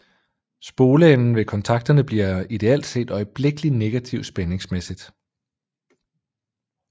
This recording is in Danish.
Spoleenden ved kontakterne bliver ideelt set øjeblikkelig negativ spændingsmæssigt